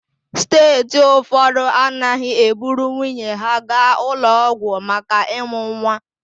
Steeti ụfọdụ anaghị eburu nwunye ha gaa ụlọ ọgwụ maka ịmụ nwa.